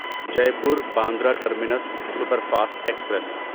Jaipur Bandra terminus superfast express